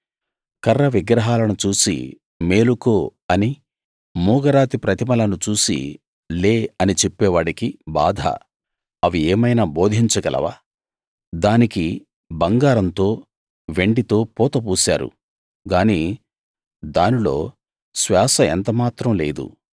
కర్ర విగ్రహాలను చూసి మేలుకో అనీ మూగరాతి ప్రతిమలను చూసి లే అనీ చెప్పేవాడికి బాధ అవి ఏమైనా బోధించగలవా దానికి బంగారంతో వెండితో పూత పూశారు గానీ దానిలో శ్వాస ఎంత మాత్రం లేదు